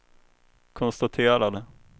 konstaterade